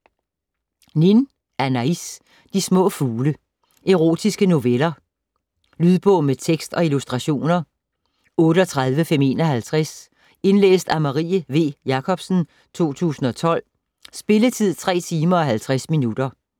Nin, Anaıs: De små fugle Erotiske noveller. Lydbog med tekst og illustrationer 38551 Indlæst af Marie V. Jakobsen, 2012. Spilletid: 3 timer, 50 minutter.